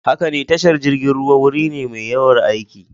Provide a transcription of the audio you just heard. Haka ne, tashar jirgin ruwa wuri ne mai yawan aiki.